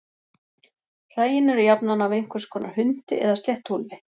Hræin eru jafnan af einhvers konar hundi eða sléttuúlfi.